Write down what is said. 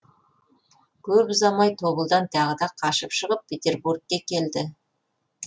көп ұзамай тобылдан тағы да қашып шығып петербургке келді